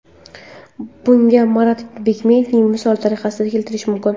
Bunga Marat Bikmayevni misol tariqasida keltirishim mumkin.